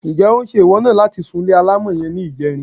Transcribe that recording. Ǹjé̩ ó ń s̩̣e ìwọ̩ náà láti súnle alámò̩ ye̩n ní ìje̩rin?